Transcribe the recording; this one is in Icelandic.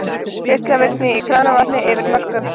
Geislavirkni í kranavatni yfir mörkum